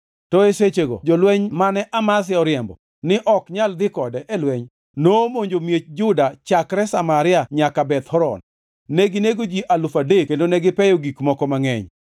To e sechego jolweny mane Amazia oriembo ni ok inyal dhi kode e lweny nomonjo miech Juda chakre Samaria nyaka Beth Horon. Neginego ji alufu adek kendo negipeyo gik moko mangʼeny.